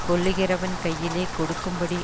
கொல்லுகிறவன் கையிலே கொடுக்கும்படி